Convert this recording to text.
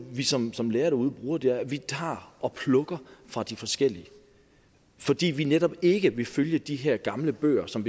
vi som som lærere derude bruger det er at vi tager og plukker fra de forskellige fordi vi netop ikke vil følge de her gamle bøger som